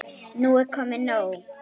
Nú er komið nóg!